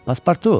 Passportu!